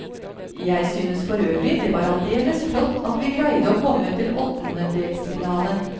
Jeg synes forøvrig det var aldeles flott at vi greide å komme til åttendedelsfinalen.